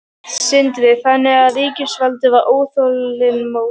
Sindri: Þannig að ríkisvaldið var óþolinmótt?